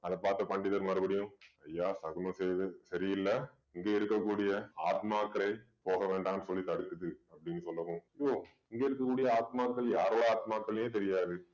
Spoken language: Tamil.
அத பார்த்த பண்டிதர் மறுபடியும் ஐயா சகுனம் செய்து சரியில்லை இங்க இருக்கக்கூடிய ஆத்மாக்களே போக வேண்டாம்ன்னு சொல்லி தடுக்குது அப்படின்னு சொல்லவும் யோவ் இங்க இருக்கக்கூடிய ஆத்மாக்கள் யாரோட ஆத்மாக்கள்ன்னே தெரியாது